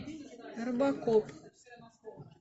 робокоп